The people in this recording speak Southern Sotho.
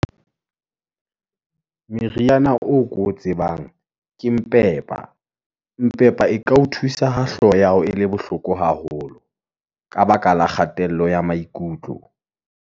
meriana oo ko o tsebang, ke mpepa, mpepa e ka o thusa ha hlooho ya hao e le bohloko haholo, ka baka la kgatello ya maikutlo.